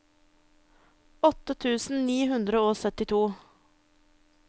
åtte tusen ni hundre og syttito